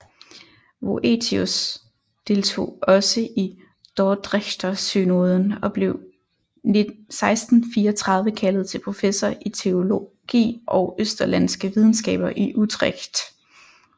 Voetius deltog også i dordrechtersynoden og blev 1634 kaldet til professor i teologi og østerlandske videnskaber i Utrecht